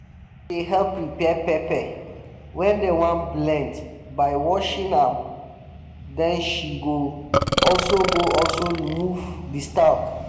dey help prepare pepper wey dem wan blend by washing am den she go also she go also remove di stalk